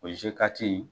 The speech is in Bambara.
O in